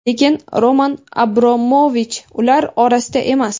Lekin Roman Abromovich ular orasida emas.